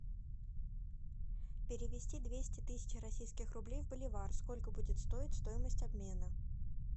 перевести двести тысяч российских рублей в боливар сколько будет стоить стоимость обмена